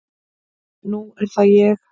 Nú er það ég.